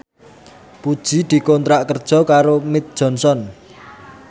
Puji dikontrak kerja karo Mead Johnson